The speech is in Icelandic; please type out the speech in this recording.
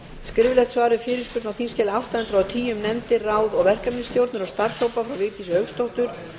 skriflegt svar við fyrirspurn á þingskjali átta hundruð og tíu um nefndir ráð og verkefnisstjórnir og starfshópa frá vigdísi hauksdóttur